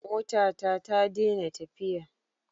Motata ta dena tafiya